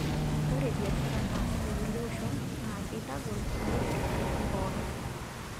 Ore biashara naasi tekulie oshon naa keitagol neret loshon pookin.